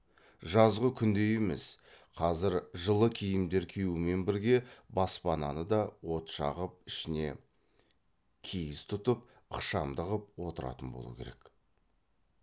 жазғы күндей емес қазір жылы киімдер киюмен бірге баспананы да от жағып ішіне киіз тұтып ықшамды қып отыратын болу керек